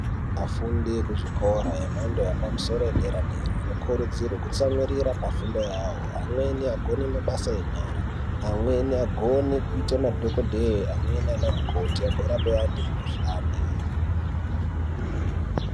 Vafundi vekuzvikora yemhando yepamusoro musoro yepadera vanokurudzirwa kutsunyirira pafundo yavo vamweni vagone mabasa enyara amweni agone kuita madhokodheya amweni ana mukoti agorapa antu mikuhlani.